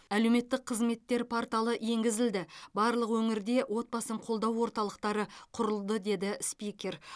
әлеуметтік қызметтер порталы енгізілді барлық өңірде отбасын қолдау орталықтары құрылды деді спикер